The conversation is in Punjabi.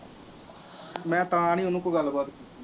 ਮੈਂ ਤਾਂ ਨਹੀਂ ਉਹਨੂੰ ਕੋਈ ਗੱਲਬਾਤ